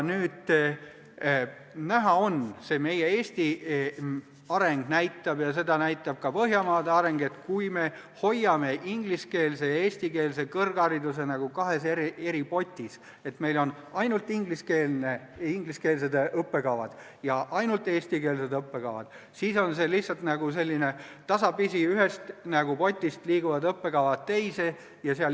On näha – seda näitab meie Eesti areng ja seda näitab ka Põhjamaade areng –, et kui me hoiame ingliskeelse ja eestikeelse kõrghariduse kahes eri potis, st meil on ainult ingliskeelsed õppekavad ja ainult eestikeelsed õppekavad, siis on lihtsalt sedasi, et õppekavad liiguvad tasapisi ühest potist teise.